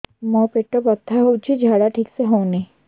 ମୋ ପେଟ ବଥା ହୋଉଛି ଝାଡା ଠିକ ସେ ହେଉନି